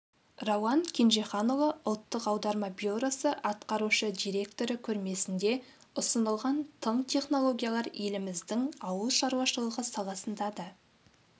рауан кенжеханұлы ұлттық аударма бюросы атқарушы директоры көрмесінде ұсынылған тың технологиялар еліміздің ауыл шаруашылығы саласында да